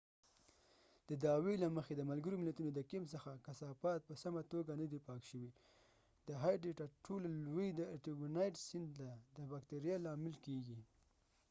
د دعوی دمحكمې يوه فقره له مخې، د ملګرو ملتونو د کیمپ څخه کثافات په سمه توګه ندي پاک شوي د هایټي ترټولو لوی، د ارټيبونایټ سیند ته د باکتریا لامل کیږي۔